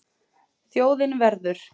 Þjóðin verður.